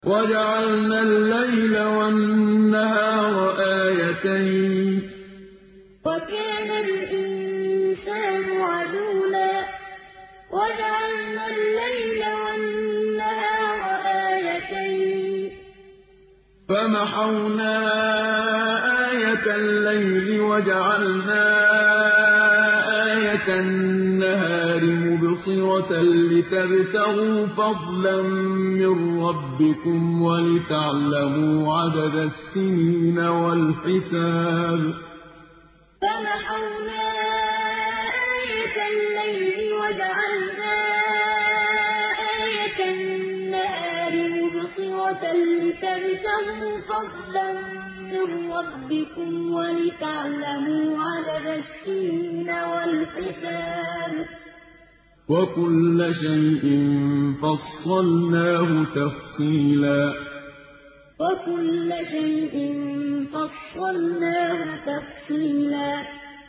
وَجَعَلْنَا اللَّيْلَ وَالنَّهَارَ آيَتَيْنِ ۖ فَمَحَوْنَا آيَةَ اللَّيْلِ وَجَعَلْنَا آيَةَ النَّهَارِ مُبْصِرَةً لِّتَبْتَغُوا فَضْلًا مِّن رَّبِّكُمْ وَلِتَعْلَمُوا عَدَدَ السِّنِينَ وَالْحِسَابَ ۚ وَكُلَّ شَيْءٍ فَصَّلْنَاهُ تَفْصِيلًا وَجَعَلْنَا اللَّيْلَ وَالنَّهَارَ آيَتَيْنِ ۖ فَمَحَوْنَا آيَةَ اللَّيْلِ وَجَعَلْنَا آيَةَ النَّهَارِ مُبْصِرَةً لِّتَبْتَغُوا فَضْلًا مِّن رَّبِّكُمْ وَلِتَعْلَمُوا عَدَدَ السِّنِينَ وَالْحِسَابَ ۚ وَكُلَّ شَيْءٍ فَصَّلْنَاهُ تَفْصِيلًا